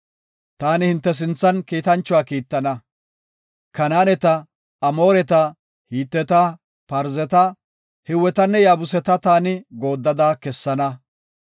Taani hinte sinthan kiitanchuwa kiittana. Kanaaneta, Amooreta, Hiteta, Parzeta, Hiwetanne Yaabuseta taani gooddada kessana.